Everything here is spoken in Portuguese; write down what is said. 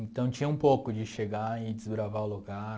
Então tinha um pouco de chegar e desbravar o lugar.